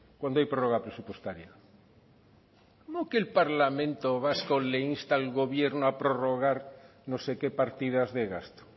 cuando hay prórroga presupuestaria cómo que el parlamento vasco le insta al gobierno a prorrogar no sé qué partidas de gasto